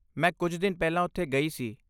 ਮੈਂ ਕੁਝ ਦਿਨ ਪਹਿਲਾਂ ਉੱਥੇ ਗਈ ਸੀ।